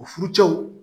O furucɛw